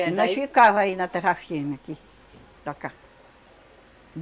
E nós ficava aí na terra firme aqui, para cá.